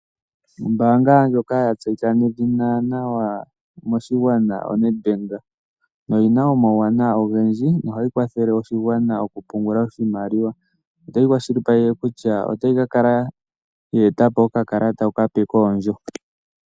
Ombaanga ndjoka ya tseyika nedhina moshigwana o Nedbank, oyina omawunawa ogendji nohayi kwathele oshigwana oku pungula iimaliwa. Otayi kwashilipaleke kutya otayi kala ye etapo okakalata okape koondjo.